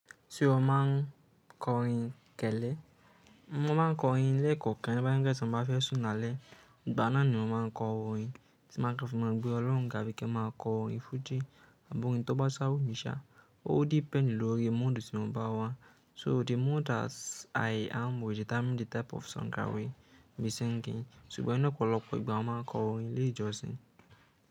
Ṣé o máa ń kọ orin kẹ́lẹ́? Mo máa ń kọ orin ilé ẹ̀kọ́ kẹ̀rẹ́ bá yẹ kí èsìn bá fẹ́ sún alẹ́. Ìgbà náà ni mo máa ń kọ orin tí máa kọ fi mọ gbẹ́ olórun ga bi kin ma ko orin fuji àb'orin tó bá sá wùmí ṣà ó depend lórí mood tí mo bá wà. So the mood that I am with determine the type of song that I will be singing. Ṣùgbọ́n ni ọ̀pọ̀lọpọ̀ ìgbà mo máa ń kọ orin ilé ìjọsìn.